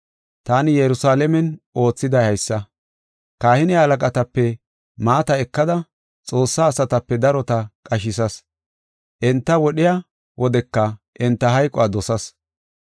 Taani Yerusalaamen oothiday haysa. Kahine halaqatape maata ekada Xoossaa asatape darota qashisas. Enta wodhiya wodeka enta hayquwa dosas.